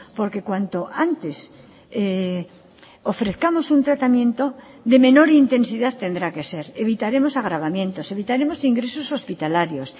porque cuanto antes ofrezcamos un tratamiento de menor intensidad tendrá que ser evitaremos agravamientos evitaremos ingresos hospitalarios